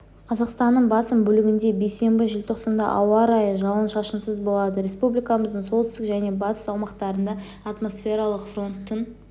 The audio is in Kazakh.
қазақстанның басым бөлігінде бейсенбі желтоқсанда ауа райы жауын-шашынсыз болады республикамыздың солтүстік және батыс аумақтарында атмосфералық фронттың